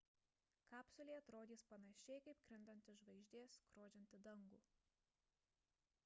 kapsulė atrodys panašiai kaip krintanti žvaigždė skrodžianti dangų